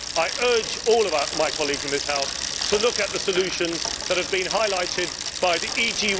I urge all my colleagues in this House to look at the solutions that have been highlighted by the E.